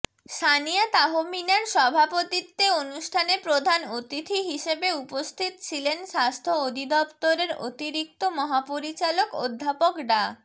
সানিয়া তাহমিনার সভাপতিত্বে অনুষ্ঠানে প্রধান অতিথি হিসেবে উপস্থিত ছিলেন স্বাস্থ্য অধিদপ্তরের অতিরিক্ত মহাপরিচালক অধ্যাপক ডা